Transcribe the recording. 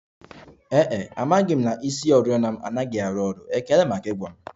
Ee e, amaghị m na isioriọna m anaghị arụ ọrụ, ekele maka ịgwa m